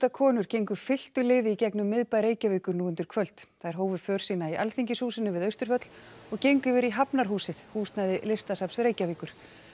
konur gengu fylktu liði í gegnum miðbæ Reykjavíkur nú undir kvöld þær hófu för sína í Alþingishúsinu við Austurvöll og gengu yfir í Hafnarhúsið húsnæði Listasafns Reykjavíkur